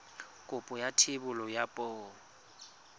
kopo ya thebolo ya poo